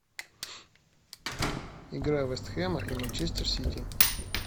игра вест хэма и манчестер сити